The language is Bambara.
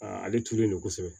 ale tuurulen don kosɛbɛ